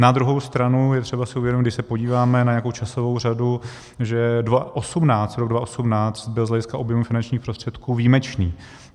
Na druhou stranu je třeba si uvědomit, když se podíváme na nějakou časovou řadu, že rok 2018 byl z hlediska objemu finančních prostředků výjimečný.